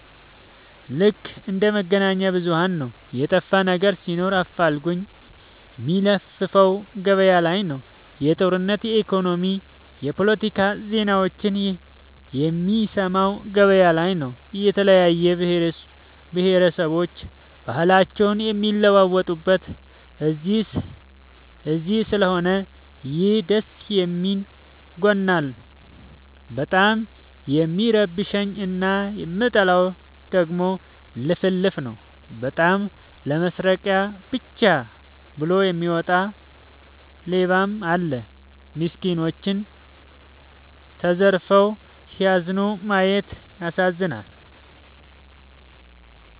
ልክ እንደ መገናኛብዙኋን ነው የጠፋነገር ሲኖር አፋልጉኝ የሚለፍፈው ገበያላይ ነው። የጦርነት የኢኮኖሚ የፓለቲካ ዜናዎችን የሚሰማው ገበያ ላይ ነው። የተለያየ ብሆረሰቦች ባህልአቸውን የሚለዋወጡት እዚስለሆነ ይህ ደስየሚል ጎኑ ነው። በጣም የሚረብሸኝ እና የምጠላው ደግሞ ልፍልፍ ነው። በጣም ለመስረቃ ብቻ ብሎ የሚወጣ ሌባም አለ። ሚስኩኖች ተዘርፈው ሲያላዝኑ ማየት ይዘገንናል።